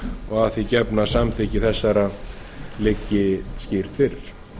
og að því gefnu að samþykki þessara liggi fyrir